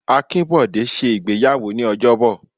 Akinbode ṣe ìgbéyàwó ní ojobo.